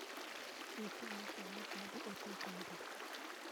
Nyisa ane sani saa adi e piny India